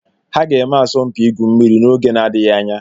Ha ga-eme asọmpi igwu mmiri n'oge na-adịghị anya.